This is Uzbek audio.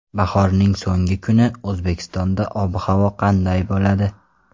Bahorning so‘nggi kuni O‘zbekistonda ob-havo qanday bo‘ladi?.